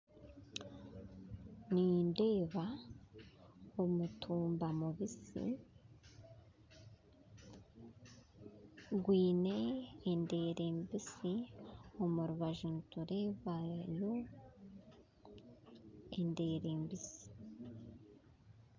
Nindeeba omutumba mubisi gwine endeere mbisi omurubaju nturebayo endeere mbisi.